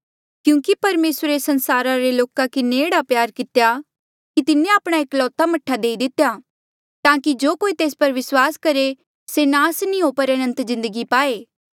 क्यूंकि परमेसरे संसारा रे लोका किन्हें एह्ड़ा प्यार कितेया कि तिन्हें आपणा एकलौता मह्ठा देई दितेया ताकि जो कोई तेस पर विस्वास करहे से नास नी हो पर अनंत जिन्दगी पाए